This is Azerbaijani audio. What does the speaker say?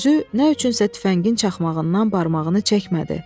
özü nədənsə tüfəngin çaxmağından barmağını çəkmədi.